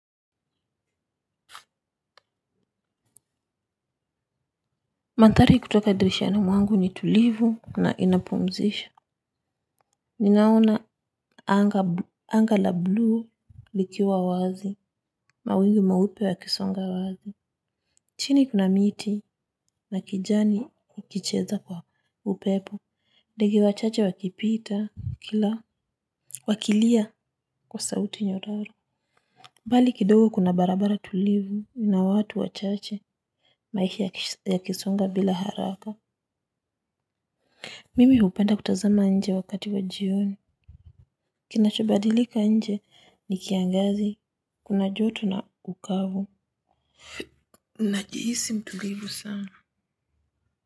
Manthari kutoka dirishani mwangu ni tulivu na inapumzisha. Ninaona anga la blue likiwa wazi. Mawingu meupe yakisonga wazi. Chini kuna miti na kijani kikicheza kwa upepo. Ndege wachache wakipita kila. Wakilia kwa sauti nyororo. Bali kidogo kuna barabara tulivu na watu wachache. Maisha yakisonga bila haraka. Mimi hupenda kutazama nje wakati wa jioni. Kinachobadilika nje ni kiangazi, kuna joto na ukavu. Najihisi mtulivu sana.